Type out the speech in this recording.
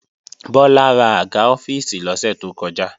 Bọ́lá rà àga ọ́fíìsì lọ́sẹ̀ tó kọjá